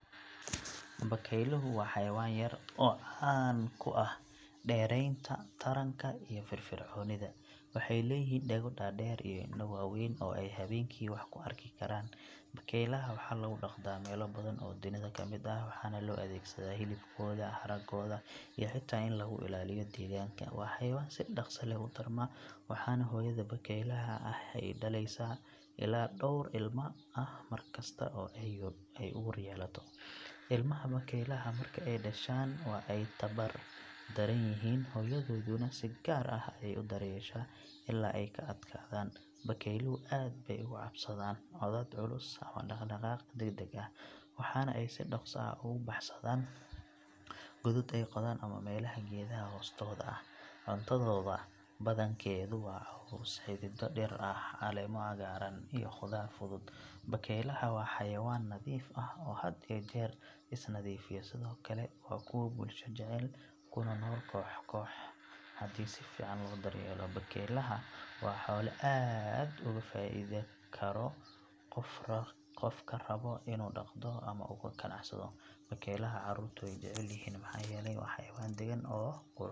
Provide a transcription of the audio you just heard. Bakayluhu waa xayawaan yar oo caan ku ah dheereeynta taranka iyo firfircoonida. Waxay leeyihiin dhago dhaadheer iyo indho waaweyn oo ay habeenkii wax ku arki karaan. Bakaylaha waxaa lagu dhaqdaa meelo badan oo dunida ka mid ah, waxaana loo adeegsadaa hilibkooda, haragooda iyo xitaa in lagu ilaaliyo deegaanka. Waa xayawaan si dhaqso leh u tarma, waxaana hooyada bakaylaha ah ay dhalaysaa ilaa dhowr ilma ah mar kasta oo ay uur yeelato. Ilmaha bakaylaha marka ay dhashaan waa ay tabar daran yihiin, hooyadooduna si gaar ah ayay u daryeeshaa ilaa ay ka adkaadaan. Bakayluhu aad bay uga cabsadaan codad culus ama dhaqdhaqaaq degdeg ah, waxaana ay si dhaqso ah ugu baxsadaan godad ay qodaan ama meelaha geedaha hoostooda ah. Cuntadooda badankeedu waa caws, xididdo dhir ah, caleemo cagaaran iyo khudaar fudud. Bakaylaha waa xayawaan nadiif ah oo had iyo jeer is nadiifiya, sidoo kale waa kuwo bulsho jecel kuna nool koox koox. Haddii si fiican loo daryeelo, bakaylaha waa xoolo aad uga faa’iidi karo qofka raba inuu dhaqda ama uga ganacsado. Bakaylaha carruurtu way jecel yihiin maxaa yeelay waa xayawaan dagan oo qurux badan.